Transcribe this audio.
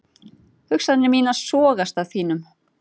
Hugsanir mínar sogast að þínum.